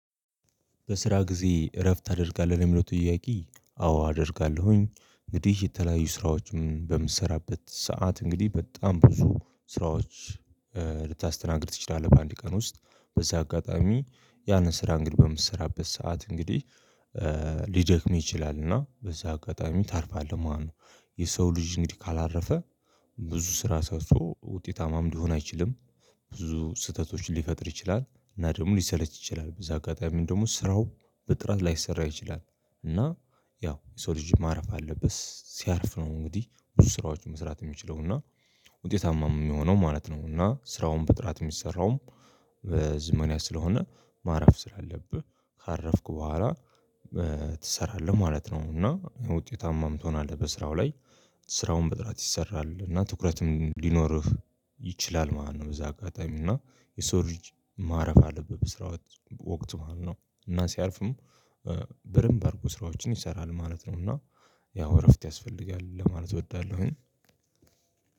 በስራ ጊዜ እረፍት ታደርጋለህ? የሚለው ጥያቄ አዎ አደርጋለሁኝ። እንግዲህ የተለያዩ ስራዎችን በምትሰራበት ሰዓት እንግዲህ በጣም ብዙ ስራዎች ልታስተናግድ ትችላለህ በአንድ ቀን ውስጥ በዛ አጋጣሚ ያንን ስራ እንግዲህ በምትሰራበት ሰዓት እንግዲህ ሊደክምህ ይችላል እና በዛ አጋጣሚ ታርፋለህ ማለት ነው። የሰው ልጅ እንግዲህ ካላረፈ ብዙ ስራ ሰርቶ ውጤታማም ሊሆን አይችልም። ብዙ ስህተቶች ሊፈጥር ይችላል እና ደግሞ ሊሰለች ይችላል፣ በዛ አጋጣሚ ደግሞ ስራው በጥራት ላይሰራ ይችላል፣ እና ያው የሰው ልጅ ማረፍ አለበት፣ ሲያርፍ ነው እንግዲህ ብዙ ስራዎችን መስራት የሚችለው እና ውጤታማም የሚሆነው ማለት ነው እና ስራውን በጥራት የሚሰራውም በዘመናዊ ስለሆነ ማረፍ ስላለብህ ካረፍክ በኋላ ትሰራለህ ማለት ነው፣ እና ውጤታማም ትሆናለህ በስራው ላይ ስራውን በጥራት ይሰራል እና ትኩረትም ሊኖርህ ይችላል ማለት ነው በዛ አጋጣሚ እና የሰው ልጅ ማረፍ አለበት በስራው ወቅት ማለት ነው እና ሲያርፍም በደንብ አድርጎ ስራዎችን ይሰራል ማለት ነው እና ያው እረፍት ያስፈልጋል ለማለት እወዳለሁኝ።